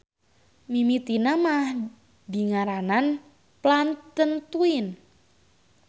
Mimitina mah dingaranan Plantentuin.